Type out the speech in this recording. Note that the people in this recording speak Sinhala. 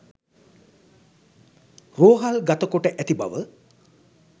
රෝහල් ගත කොට ඇති බව